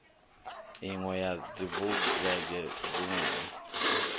inwe ya dzibulege dzine hu